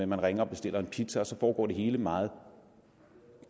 man ringer og bestiller en pizza og så foregår det hele meget